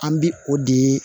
An bi o de